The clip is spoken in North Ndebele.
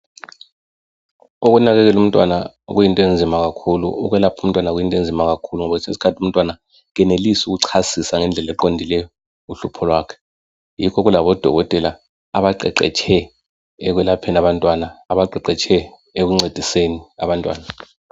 Ukunakekela umntwana kuyinto enzima kakhulu. Okwelapha umntwana kuyinto enzima kakhulu. Ngoba kwesinye isikhathi umntwana kenelisi ukuchasisa ngendlela eqondileyo uhlupho lwakhe. Yikho kulabodokotela abaqeqetshe ekwelapheni abantwana. Abaqeqetshe ekuncediseni abantwana.